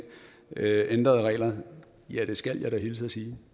ændrede regler ja det skal jeg da hilse og sige